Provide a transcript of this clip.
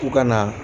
U kana